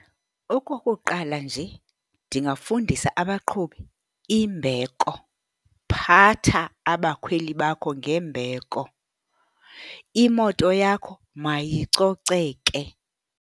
Okokuqala nje ndingafundisa abaqhubi imbeko. Phatha abakhweli bakho ngembeko, imoto yakho mayicoceke.